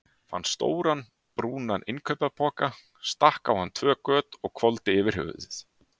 Fann stóran, brúnan innkaupapoka, stakk á hann tvö göt og hvolfdi yfir höfuðið.